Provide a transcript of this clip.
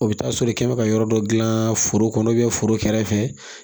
O bɛ taa sɔrɔ i kɛ bɛ ka yɔrɔ dɔ dilan foro kɔnɔ foro kɛrɛfɛ